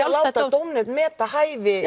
að láta dómnefnd meta hæfi